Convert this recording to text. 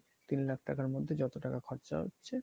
তিন লাখ টাকার মধ্যে যত টাকা খরচা হচ্ছে